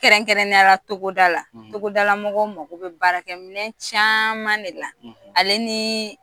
Kɛrɛnkɛrɛnnen ya la togoda la . Togoda la mɔgɔw mago be baarakɛminɛn caman de la. Ale ni